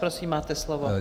Prosím, máte slovo.